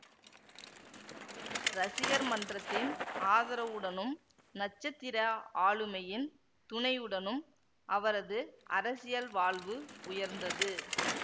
ரசிகர் மன்றத்தின் ஆதரவுடனும் நட்சத்திர ஆளுமையின் துணையுடனும் அவரது அரசியல் வாழ்வு உயர்ந்தது